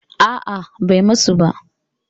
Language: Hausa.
A'a, bai musu ba.